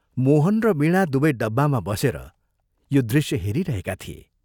मोहन र वीणा दुवै डब्बामा बसेर यो दृश्य हेरिरहेका थिए।